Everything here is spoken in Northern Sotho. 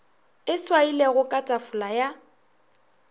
e swailwego ka tafola ya